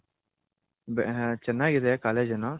ಚೆನ್ನಾಗಿದೆ College ಏನೋ.